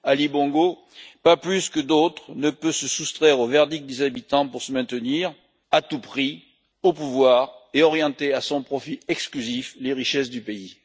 Ali Bongo, pas plus que d'autres, ne peut se soustraire au verdict des habitants pour se maintenir à tout prix au pouvoir et orienter à son profit exclusif les richesses du pays.